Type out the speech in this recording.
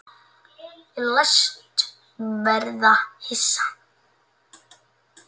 Ég læst verða hissa.